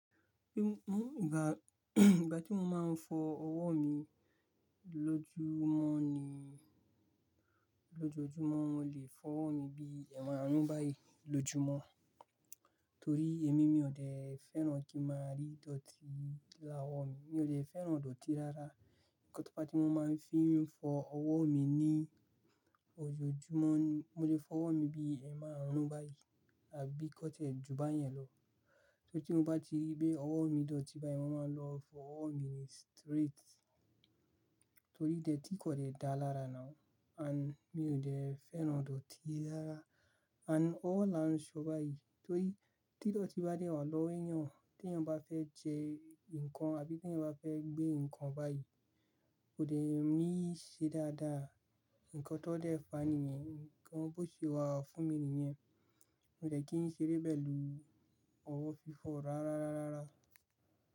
Bí mó ìgbà, ìgbà tí mo máa ń fọ ọwọ́ mi lójúmọ́ ni, lójoojúmọ́ mo lè fọ ọwọ́ mi bí èèmárún báyìí lójumọ́. Torí èmi, mi ò dẹ fẹ́ràn kí n máa rí dọ́tì ni owọ̀ mi. Mi ò dẹ́ fẹ́ràn dọ́tì rárá. Ǹkan tó fá tí mo máa ń fi fọ ọwọ́ mi ní ojoojúmọ́ ni mo lẹ́ fọ ọwọ́ mi bí èèmárún báyìí àbí kọ́ tiẹ́ ju báyẹn lọ. Tí mo bá ti rí pé ọwọ́ mi dọ́tì báyìí, mo máa lọ fọ ọwọ́ mi ní straight. Torí idotí kò lẹ dá lára now, and mi ò dẹ́ fẹ́ràn dọ́tì rárá and ọwọ́ là ń ṣọ báyìí. Torí tí dọ́tì bá dé wà lọ́wọ́ èèyàn, tí èèyàn bá fẹ́ jẹ nǹkan àbí tí èèyàn bá fẹ́ gbé nǹkan báyìí, kò dẹ́ níí ṣe dáadáa. Ǹnkan tó dẹ fà níyẹn, ǹnkan bó ṣe wà fún mi nìyẹn. Mi ò dẹ́ kí n ṣeré pẹ̀lú ọwọ́ fífọ̀ rárá, rárá, rárá.